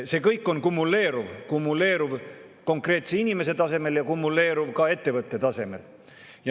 See kõik on kumuleeruv – kumuleeruv konkreetse inimese tasemel ja kumuleeruv ka ettevõtte tasemel.